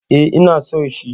E, ina so shi.